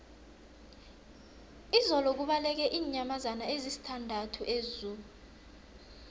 izolo kubaleke iinyamazana ezisithandathu ezoo